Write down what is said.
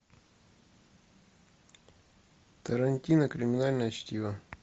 тарантино криминальное чтиво